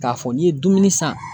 K'a fɔ n'i ye dumuni san.